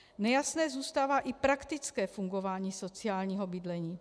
Nejasné zůstává i praktické fungování sociálního bydlení.